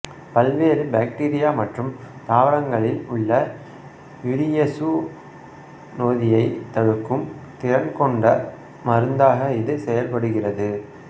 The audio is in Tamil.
பல்வேறு பாக்டீரியா மற்றும் தாவரங்களில் உள்ள யூரியேசு நொதியை தடுக்கும் திறன் கொண்ட மருந்தாக இது செயல்படுகிறது